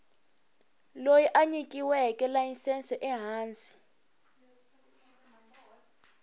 loyi a nyikiweke layisense ehansi